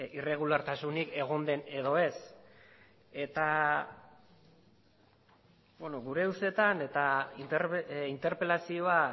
irregulartasunik egon den edo ez eta gure ustetan eta interpelazioa